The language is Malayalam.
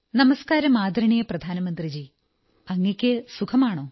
നമസ്കാരം ബഹുമാന്യ പ്രധാനമന്ത്രിജീ അങ്ങയ്ക്കു സഖമാണോ